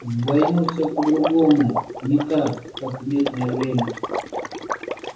в войну всё по-другому не так как в мирное время